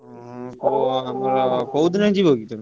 ଓଃ କୋଉଦିନ ଯିବ କି ତମେ?